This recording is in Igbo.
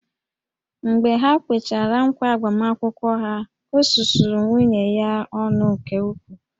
Mgbe ha kwechara ǹkwá agbamakwụkwọ ha, o susuru nwunye ya ọnụ nke ukwuu